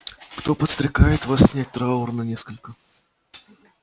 кто подстрекает вас снять траур на несколько